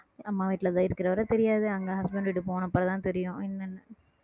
அம்மா வீட்டுலதான் இருக்கிறவரை தெரியாது அங்க husband வீட்டுக்கு போனப்புறம்தான் தெரியும் என்னன்னு